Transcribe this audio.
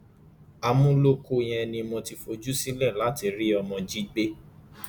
àmúlòkọ yẹn ni mo ti fojú sílẹ láti rí ọmọ jí gbé